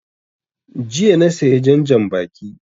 Jiya na saya jan janbaki